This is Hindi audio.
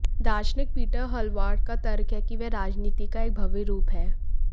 दार्शनिक पीटर हाल्वार्ड का तर्क है कि वे राजनीति का एक भव्य रूप हैं